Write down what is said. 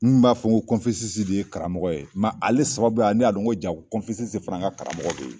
Minnu b'a fɔ ko Konfesisi de ye karamɔgɔ ye, mɛ ale sababuya ne y'a dɔn ko ja Konfesisi fana ka karamɔgɔ be yen.